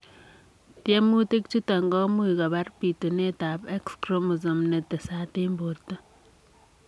Tiemutik chutok komuch kopaar pitunet ap x kiromosom netesat ang portoo